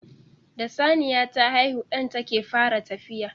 Da Saniya ta haihu ɗan take fara tafiya